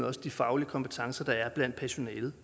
også de faglige kompetencer der er blandt personalet